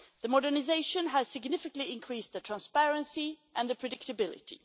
The modernisation has significantly increased transparency and predictability.